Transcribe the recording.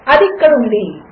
అదిఇక్కడఉంది